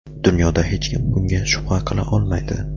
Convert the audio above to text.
Dunyoda hech kim bunga shubha qila olmaydi.